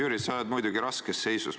Hea Jüri, sa oled muidugi raskes seisus.